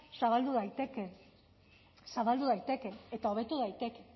zabaldu daiteke zabaldu daiteke eta hobetu daiteke